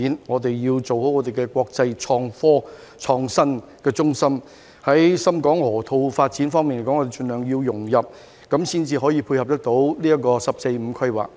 我們要做好國際創新科技中心，在深港河套發展方面也要盡量融入，才能配合"十四五"規劃。